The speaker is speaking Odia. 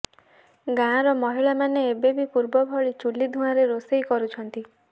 ଗାଁର ମହିଳାମାନେ ଏବେ ବି ପୂର୍ବ ଭଳି ଚୂଲି ଧୂଆଁରେ ରୋଷେଇ କରୁଛନ୍ତି